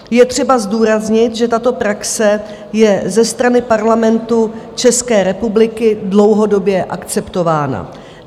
Je třeba zdůraznit, že tato praxe je ze strany Parlamentu České republiky dlouhodobě akceptována.